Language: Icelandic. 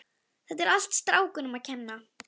Henni stendur svo sem á sama um hugsanir Agnesar.